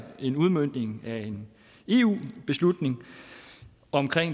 en udmøntning af en eu beslutning om